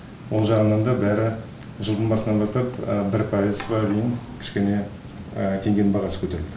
ол жағынан да бәрі жылдың басынан бастап бір пайызға дейін кішкене теңгенің бағасы көтерілді